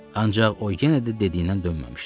Ancaq o yenə də dediyindən dönməmişdi.